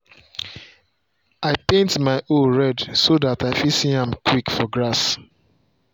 i paint my hoe red so dat i fit see am quick for grass.